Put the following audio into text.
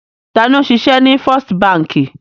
Ta ni ó ń ṣiṣẹ́ ní First Báńkì?